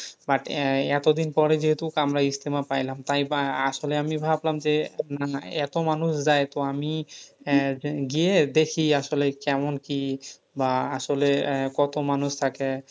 but আহ এতদিন পরে যেহেতু আমরা ইজতেমা পাইলাম তাই বা আসলে আমি ভাবলাম যে না না এত মানুষ যায়। তো আমি আহ গিয়ে দেখি আসলে কেমন কি? বা আহ আসলে কত মানুষ থাকে?